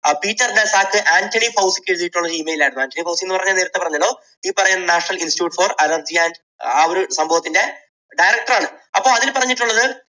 Peter ഡയേസി Anthony ഫൗസിക്ക് എഴുതിയിട്ടുള്ള ഒരു email ആയിരുന്നു. ആൻറണി ഫൗസി എന്ന് പറഞ്ഞാൽ ഞാൻ നേരത്തെ പറഞ്ഞല്ലോ ഈ പറയുന്ന national institute for allergy and ആ ഒരു സംഭവത്തിന്റെ director ണ്. അപ്പോൾ അതിൽ പറഞ്ഞിട്ടുള്ളത്